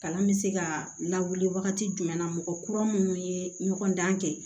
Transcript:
Kalan bɛ se ka lawuli wagati jumɛn na mɔgɔ kura minnu ye ɲɔgɔn dan kɛ